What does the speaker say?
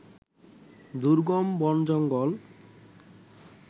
দুর্গম বন-জঙ্গল